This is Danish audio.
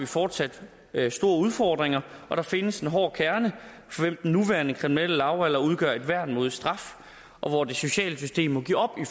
fortsat store udfordringer og der findes en hård kerne for hvem den nuværende kriminelle lavalder udgør et værn mod straf og hvor det sociale system må give op i